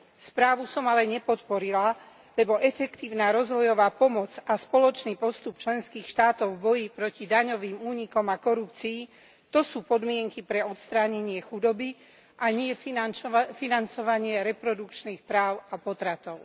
Správu som ale nepodporila, lebo efektívna rozvojová pomoc a spoločný postup členských štátov v boji proti daňovým únikom a korupcii to sú podmienky pre odstránenie chudoby, a nie financovanie reprodukčných práv a potratov.